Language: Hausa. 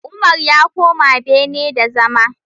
Umar ya koma bene da zama!